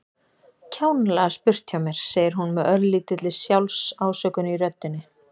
Kjánalega spurt hjá mér, segir hún með örlítilli sjálfsásökun í röddinni.